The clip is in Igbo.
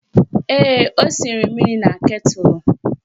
Ee, o sinyere mmiri na ketụlụ